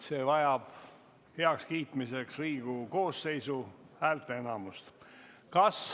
See vajab heakskiitmiseks Riigikogu koosseisu häälteenamust.